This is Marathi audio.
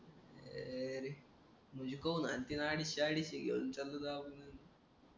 अरे मग कवा घालतील अडीचशे अडीशे घेऊन चालले जाऊ आपण